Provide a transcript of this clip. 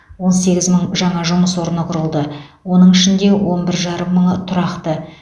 он сегіз мың жаңа жұмыс орны құрылды оның ішінде он бір жарым мыңы тұрақты